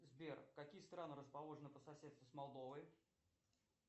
сбер какие страны расположены по соседству с молдовой